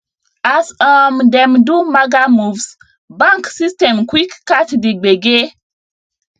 as um dem do maga moves bank system quick catch the gbege